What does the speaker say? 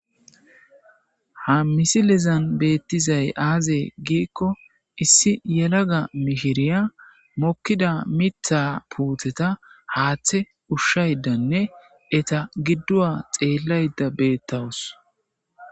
ha misilezan beettizay aazee giikko issi yelaga mihiriya mokkida mitha puutheta haaththe ushshaydanne eta gidduwa xeellayda beettawus